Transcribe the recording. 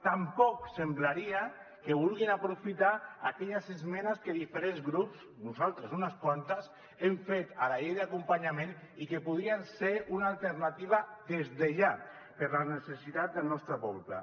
tampoc semblaria que vulguin aprofitar aquelles esmenes que diferents grups nosaltres unes quantes hem fet a la llei d’acompanyament i que podrien ser una alternativa des de ja per a la necessitat del nostre poble